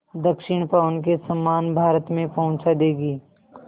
दक्षिण पवन के समान भारत में पहुँचा देंगी